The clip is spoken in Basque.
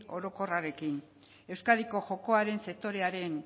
orokorrarekin euskadiko jokoaren sektorearen